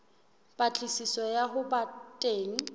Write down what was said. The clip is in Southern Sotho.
patlisiso ya ho ba teng